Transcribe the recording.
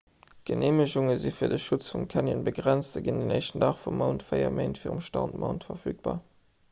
d'geneemegunge si fir de schutz vum canyon begrenzt a ginn den 1 dag vum mount véier méint virum startmount verfügbar